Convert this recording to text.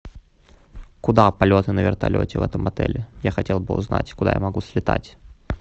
куда полеты на вертолете в этом отеле я хотел бы узнать куда я могу слетать